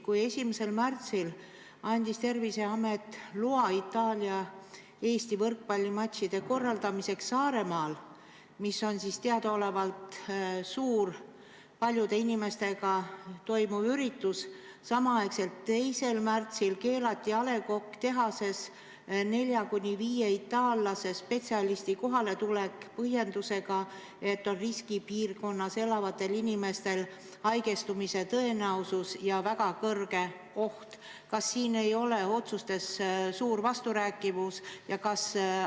Kui 1. märtsil andis Terviseamet loa Itaalia ja Eesti võrkpallimatši korraldamiseks Saaremaal, mis on teadaolevalt suur, paljude inimestega üritus, samal ajal 2. märtsil keelati A. Le Coqi tehasesse 4–5 itaallasest spetsialisti kohaletulek põhjendusega, et riskipiirkonnas elavatel inimestel on haigestumise tõenäosus ja on väga suur oht, siis kas siin ei ole otsustes suur vasturääkivus?